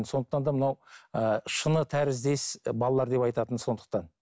сондықтан да мынау ыыы шыны тәріздес і алалар деп айтатыны сондықтан